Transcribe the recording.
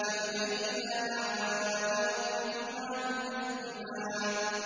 فَبِأَيِّ آلَاءِ رَبِّكُمَا تُكَذِّبَانِ